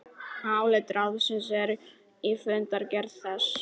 Álit ráðsins er í fundargerð þess